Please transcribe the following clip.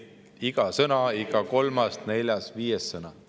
Iga sõna, iga kolmas, neljas, viies sõna ...